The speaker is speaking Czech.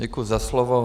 Děkuji za slovo.